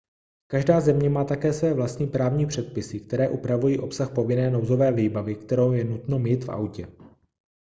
každá země má také své vlastní právní předpisy které upravují obsah povinné nouzové výbavy kterou je nutno mít v autě